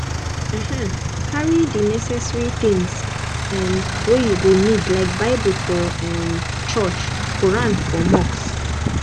um carry di neccessary things um wey you go need like bible for um church quran for mosque